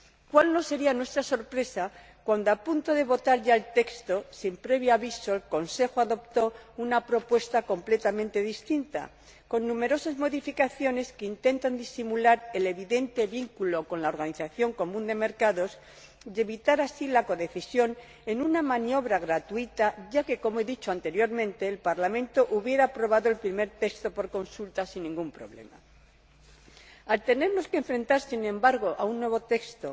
Cuál no sería nuestra sorpresa cuando, a punto de votar ya el texto, sin previo aviso, el Consejo adoptó una propuesta completamente distinta, con numerosas modificaciones que intentan disimular el evidente vínculo con la Organización Común de Mercados y evitar, así, la codecisión, en una maniobra gratuita, ya que como he dicho anteriormente el Parlamento habría aprobado el primer texto por consulta, sin ningún problema. Al tener que enfrentarnos, sin embargo, a un nuevo texto,